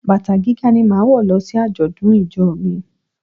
Bàtà gíga ni máa wò lọ sí àjọ̀dún ìjọ mi.